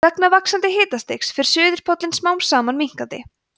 vegna vaxandi hitastigs fer suðurpóllinn smám saman minnkandi